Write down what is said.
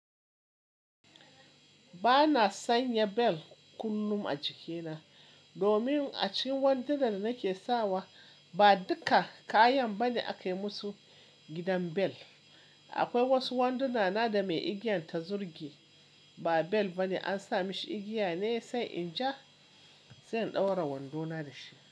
Ba na sanya bel kullum a jikina, domin a cikin wanda da nake sawa ba duka kayan bane aka yi musu gidan bel. Akwai wasu wanduna na da mai igiyan ta zurge, ba bel bane, an sa mashi igiya ne sai in ja, sai in ɗaura wandona da shi.